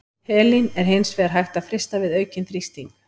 Helín er hins vegar hægt að frysta við aukinn þrýsting.